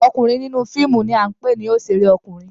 Ọkunrin ninu fiimu ni a npe ni oṣere ọkunein